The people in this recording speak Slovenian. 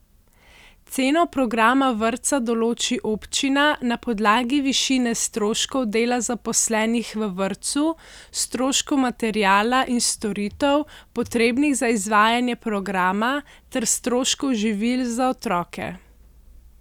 Ceno programa vrtca določi občina na podlagi višine stroškov dela zaposlenih v vrtcu, stroškov materiala in storitev, potrebnih za izvajanje programa, ter stroškov živil za otroke.